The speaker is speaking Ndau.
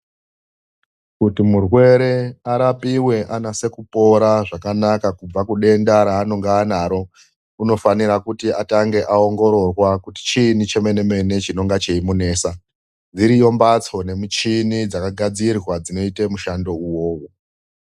Kuti murwere arapiwe anase kupora zvakanaka kubva kudenda raanonga anaro, unofanira kuti atange aongororwa kuti chiinyi chemene-mene chinonge cheimunesa. Dziriyo mphatso nemichini dzakagadzirwa dzinoita mushando uwowo.